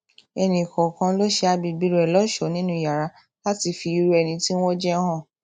ẹnìkòòkan ló ṣe agbègbè rẹ lóṣòó nínú yàrá láti fi irú ẹni tí wọn jẹ hàn